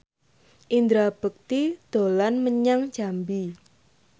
Indra Bekti dolan menyang Jambi